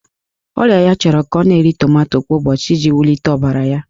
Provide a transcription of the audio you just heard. Ọrịa ya chọrọ ka ọ na-eri tomato kwa ụbọchị iji wulite ọbara ya.